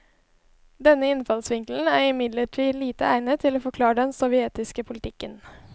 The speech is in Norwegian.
Denne innfallsvinkelen er imidlertid lite egnet til å forklare den sovjetiske politikken.